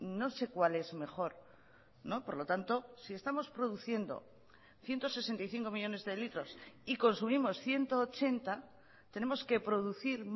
no sé cuál es mejor no por lo tanto si estamos produciendo ciento sesenta y cinco millónes de litros y consumimos ciento ochenta tenemos que producir